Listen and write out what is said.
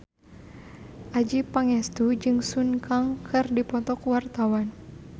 Adjie Pangestu jeung Sun Kang keur dipoto ku wartawan